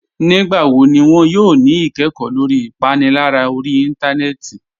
Nígbàwọ́ ní wọn yóò ní ìkẹ́kọ̀ lórí ìpànìlárà orí ìntánẹnẹ́tì?